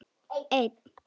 Ég toga hann til mín.